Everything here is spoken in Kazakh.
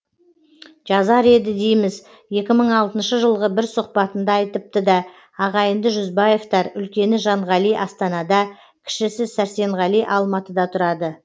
жазар еді дейміз екі мың алтыншы жылғы бір сұхбатында айтыпты да ағайынды жүзбаевтар үлкені жанғали астанада кішісі сәрсенғали алматыда тұрады